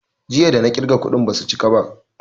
Jiya da na ƙirga kuɗin basu chika ba